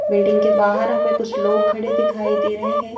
Building के बाहर हमें कुछ लोग खड़े दिखाई दे रहे हैं।